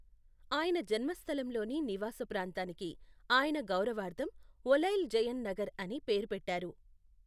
ఆయన జన్మస్థలంలోని నివాస ప్రాంతానికి ఆయన గౌరవార్థం ఒలైల్ జయన్ నగర్ అని పేరు పెట్టారు.